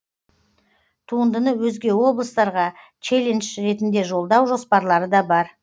туындыны өзге облыстарға челлендж ретінде жолдау жоспарлары да бар